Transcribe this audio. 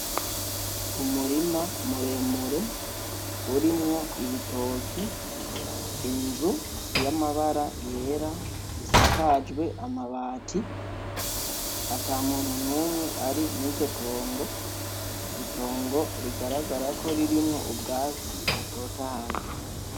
Umurima muremure urimwo ibitoke, inzu y'amabara yera isakajwe amabati ata muntu n'umwe ari muriryo tongo, itongo rigaragara ko ririmwo ubwatsi butotahaye.